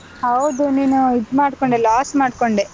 ಹೌದು, ನೀನು ಇದ್ ಮಾಡ್ಕೊಂಡೆ loss ಮಾಡ್ಕೊಂಡೆ.